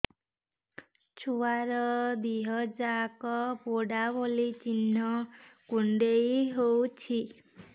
ଛୁଆର ଦିହ ଯାକ ପୋଡା ଭଳି ଚି଼ହ୍ନ କୁଣ୍ଡେଇ ହଉଛି